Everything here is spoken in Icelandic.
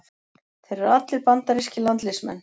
Þeir eru allir bandarískir landsliðsmenn